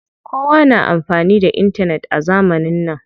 Kowa na amfani da intanet a zamanin nan.